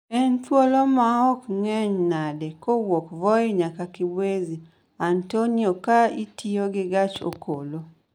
En thuolo maom ng'eny nade kowuok voi nyaka Kibwezi Antonio ka itiyo gi gach okolo